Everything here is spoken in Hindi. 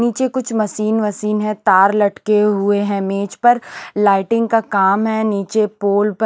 नीचे कुछ मशीन मशीन है तार लटके हुए हैं मेज पर लाइटिंग का काम है नीचे पोल पर--